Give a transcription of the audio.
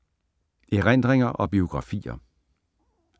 Erindringer og biografier